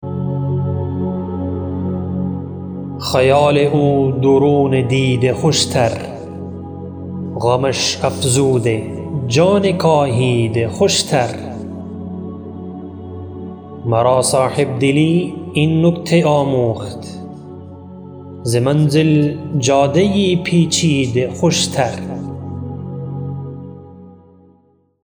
خیال او درون دیده خوشتر غمش افزوده جان کاهیده خوشتر مرا صاحبدلی این نکته آموخت ز منزل جاده پیچیده خوشتر